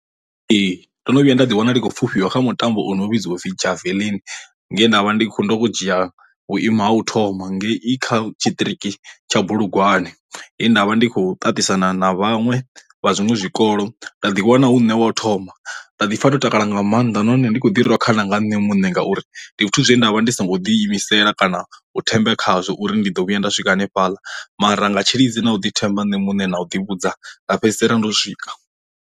Ee ndo no vhuya nda ḓi wana ndi khou pfufhiwa kha mutambo o no vhidziwa upfi javelin, nge he nda vha ndi khou ndo dzhia vhuimo ha u thoma ngei i kha tshiṱiriki tsha bulugwane he ndavha ndi kho ṱaṱisana na vhaṅwe vha zwiṅwe zwikolo nda ḓi wana hu ne hune wa u thoma nda ḓi pfa ndo takala nga maanḓa nahone ndi kho ḓi rhwa khana nga nṋe muṋe, ngauri ndi zwithu zwine ndavha ndi songo ḓi imisela kana u themba khazwo uri ndi ḓo vhuya nda swika hanefhaḽa mara nga tshilidzi na u ḓi themba nṋe muṋe na u ḓi vhudza nga fhedzisela ndo swika.